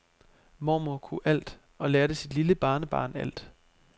Mormor kunne alt og lærte sit lille barnebarn alt.